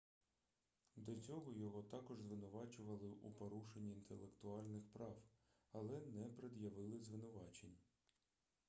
до цього його також звинувачували у порушенні інтелектуальних прав але не пред'явили звинувачень